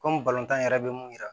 Komi tan yɛrɛ bɛ mun yira